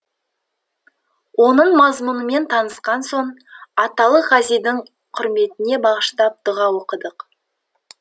оның мазмұнымен танысқан соң аталық ғазидің құрметіне бағыштап дұға оқыдық